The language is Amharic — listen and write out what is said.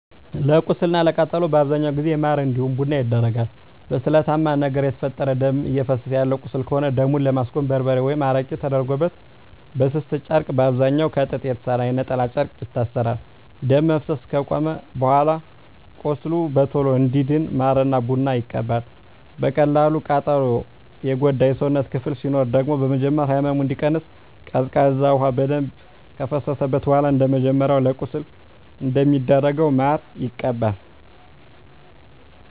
ለቁስል እና ለቃጠሎ በአብዛኛው ጊዜ ማር እንዲሁም ቡና ይደረጋል። በስለታማ ነገር የተፈጠረ ደም እፈሰሰ ያለው ቁስል ከሆነ ደሙን ለማስቆም በርበሬ ወይም አረቄ ተደርጎበት በስስ ጨርቅ በአብዛኛዉ ከጥጥ በተሰራ የነጠላ ጨርቅ ይታሰራል። ደም መፍሰስ አከቆመም በኃላ ቁስሉ በቶሎ እንዲድን ማር ወይም ቡና ይቀባል። በቀላል ቃጠሎ የጎዳ የሰውነት ክፍል ሲኖር ደግሞ በመጀመሪያ ህመሙ እንዲቀንስ ቀዝቃዛ ውሃ በደንብ ከፈሰሰበት በኃላ እንደመጀመሪያው ለቁስል እንደሚደረገው ማር ይቀባል።